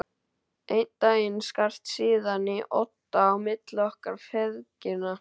Einn daginn skarst síðan í odda á milli okkar feðgina.